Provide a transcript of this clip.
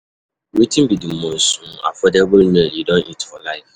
Wetin be di most um affordable meal you don eat for life?